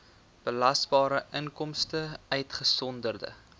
belasbare inkomste uitgesonderd